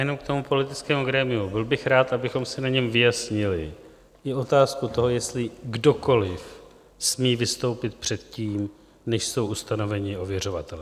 Jenom k tomu politickému grémiu - byl bych rád, abychom si na něm vyjasnili i otázku toho, jestli kdokoli smí vystoupit před tím, než jsou ustanoveni ověřovatelé.